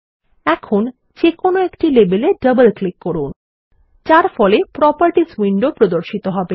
এখন যেকোনো একটি লেবেল এ ডবল ক্লিক করুনযার ফলে প্রপার্টিস উইন্ডো প্রদর্শন হবে